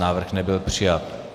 Návrh nebyl přijat.